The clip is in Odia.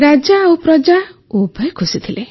ରାଜା ଓ ପ୍ରଜା ଉଭୟେ ଖୁସି ଥିଲେ